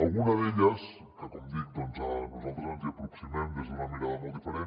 alguna d’elles que com dic doncs nosaltres ens hi aproximem des d’una mirada molt diferent